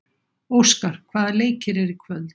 Óskar, hvaða leikir eru í kvöld?